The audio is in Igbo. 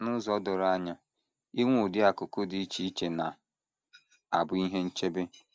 N’ụzọ doro anya, inwe ụdị akụ́kụ́ dị iche iche na - abụ ihe nchebe.